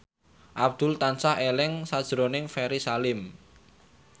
Abdul tansah eling sakjroning Ferry Salim